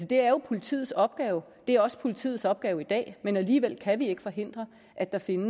det er jo politiets opgave det er også politiets opgave i dag men alligevel kan vi ikke forhindre at der finder